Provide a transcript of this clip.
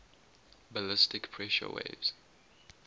ballistic pressure waves